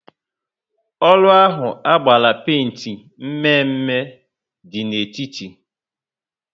Ụlọ ahụ agbara penti mme mme dị n'etiti